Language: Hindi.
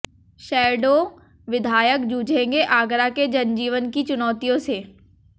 शैडो विधायक जूझेंगे आगरा के जनजीवन की चुनौतियों से